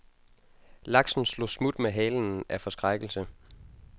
Laksen slog smut med halen af forskrækkelse.